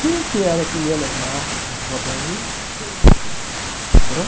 Quem que era que ia levar as madames? Ãh?